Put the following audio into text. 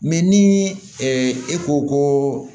ni e ko ko